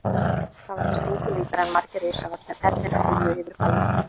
Það var engu líkara en margir risavaxnir ernir flygju yfir bæinn.